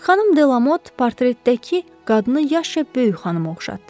Xanım Delamot portretdəki qadını yaşca böyük xanıma oxşatdı.